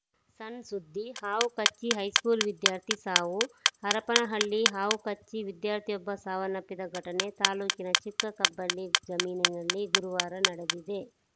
ಸಣ್‌ ಸುದ್ದಿ ಹಾವು ಕಚ್ಚಿ ಹೈಸ್ಕೂಲ್‌ ವಿದ್ಯಾರ್ಥಿ ಸಾವು ಹರಪನಹಳ್ಳಿ ಹಾವು ಕಚ್ಚಿ ವಿದ್ಯಾರ್ಥಿಯೊಬ್ಬ ಸಾವನ್ನಪ್ಪಿದ ಘಟನೆ ತಾಲೂಕಿನ ಚಿಕ್ಕ ಕಬ್ಬಳ್ಳಿ ಜಮೀನಿನಲ್ಲಿ ಗುರುವಾರ ನಡೆದಿದೆ